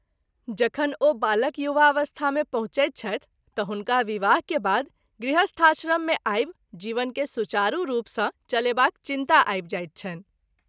जंखन ओ बालक युवावस्था मे पहुँचैत छथि त’ हुनका विवाह के बाद गृहस्थाश्रम मे आबि जीवन के सुचारू रूप सँ चलेबाक चिन्ता आबि जाइत छनि।